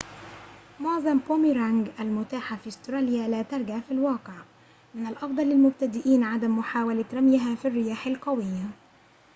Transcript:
معظم بوميرانج المتاحة في أستراليا لا ترجع في الواقع من الأفضل للمبتدئين عدم محاولة رميها في الرياح القوية